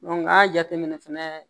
n ka jateminɛ fɛnɛ